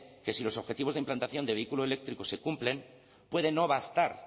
que si los objetivos de implantación del vehículo eléctrico se cumplen puede no bastar